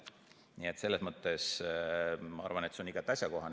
Nii et selles mõttes ma arvan, et see on igati asjakohane.